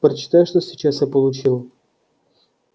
прочитай что сейчас я получил